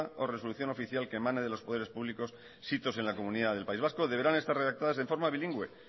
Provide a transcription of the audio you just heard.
o resolución oficial que emane de los poderes públicos sitos en la comunidad del país vasco deberán estar redactadas en forma bilingüe